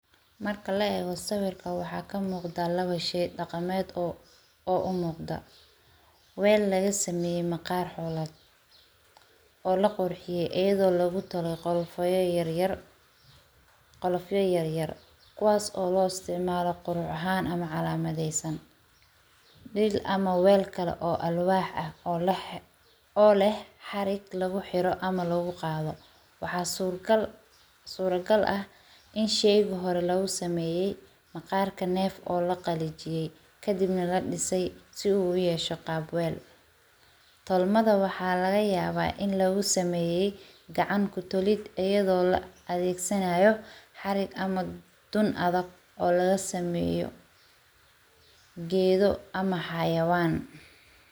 Marka la weyso sawirka waxaa ka muuqda laba shey dhaqameed oo u muuqda: Weel laga sameeyo maqaar xulad, oo la qurxiyay iyo lagu talo qolo fayo yaryar qolo fayo yaryar. Kuwaas oo loo isticmaalo qurux ahaan ama calaamadeysan. Dhiig ama weel kale oo alwaax ah oo leh oo leh xarig lagu xiiro ama loogu qaado. Waxaa suurtagal suurtagal ah in shaygu hore loo sameeyay maqaarka neef oo la qallijiyay ka dibna la dhisay si uu u yeesho qaab weel. Tolmada waxaa laga yaaba in lagu sameeyay gacan ku tolid ayadoo la adeegsanayo xarig ama dunada oo laga sameeyo geedo ama xayawaan.